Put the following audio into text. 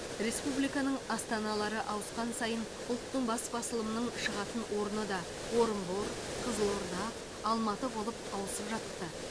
республиканың астаналары ауысқан сайын ұлттың бас басылымының шығатын орны да орынбор қызылорда алматы болып ауысып жатты